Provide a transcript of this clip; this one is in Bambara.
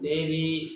Bɛɛ bi